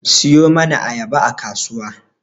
Siyo mana ayaba a kasuwa